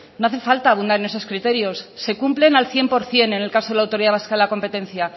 no hace falta abundar en esos criterios se cumplen a cien por ciento en el caso de la autoridad vasca de la competencia